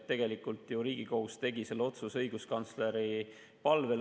Tegelikult tegi ju Riigikohus selle otsuse õiguskantsleri palvel.